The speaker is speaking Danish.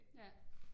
Ja